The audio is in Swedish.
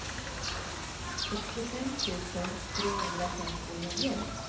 sextiofem tusen trehundrafemtionio